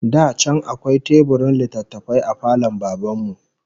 Da can akwai teburin littattafai a falon Baban mu